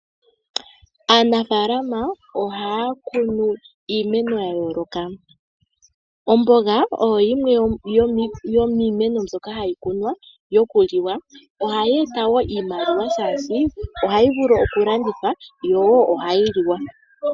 Aanafaalama ohaya kunu iimeno ya yooloka. Omboga oyo yimwe yomiimeno mbyoka hayi kunwa yokuliwa . Ohayi eta wo iimaliwa shaashi ohayi vulu okulandithwa yo ohayi liwa.